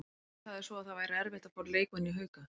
Hver sagði svo að það væri erfitt að fá leikmenn í Hauka?